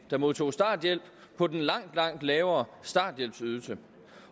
der modtog starthjælp på den langt langt lavere starthjælpsydelse